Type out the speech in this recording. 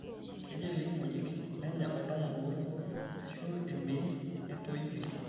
Kejei ilkimojik nenya oltamolooji, aashu emei netoi pii.